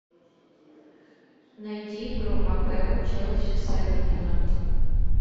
найди игру апл челси с эвертоном